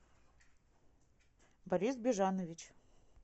борис бежанович